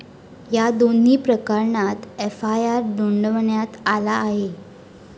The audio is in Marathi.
या दोन्ही प्रकरणात एफआयआर नोंदवण्यात आला आहे.